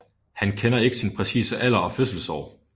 Han kender ikke sin præcise alder og fødselsår